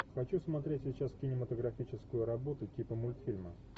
хочу смотреть сейчас кинематографическую работу типа мультфильма